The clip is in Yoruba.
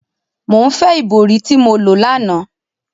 Mo ǹ fe ibori ti mo lo lana!